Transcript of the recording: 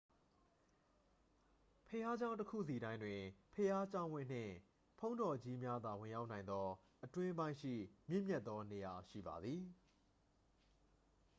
ဘုရားကျောင်းတစ်ခုစီတိုင်းတွင် ဘုရားကျောင်းဝင်းနှင့် ဘုန်းတော်ကြီးများသာ ဝင်ရောက်နိုင်သော အတွင်းပိုင်းရှိ မြင့်မြတ်သောနေရာ ရှိပါသည်